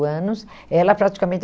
anos. Ela praticamente